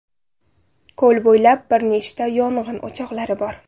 Ko‘l bo‘ylab bir nechta yong‘in o‘choqlari bor.